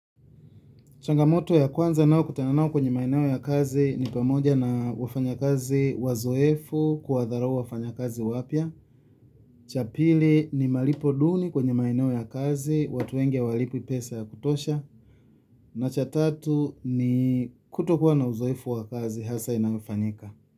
Changamoto ya kwanza ninayokutana nayo kwenye maeneo ya kazi ni pamoja na wafanyakazi wazoefu kuwadharau wafanyakazi wapya. Cha pili ni malipo duni kwenye maeneo ya kazi, watu wengi hawalipwi pesa ya kutosha. Na cha tatu ni kutokuwa na uzoefu wa kazi hasa inayofanyika.